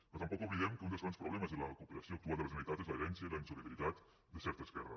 però tampoc oblidem que un dels grans problemes de la cooperació actual de la generalitat és l’herència i la insolidaritat de certa esquerra